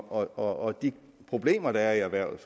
og de problemer der er i erhvervet